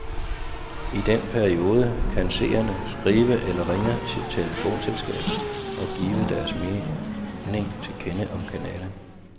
I den periode kan seerne skrive eller ringe til telefonselskabet og give deres mening til kende om kanalen.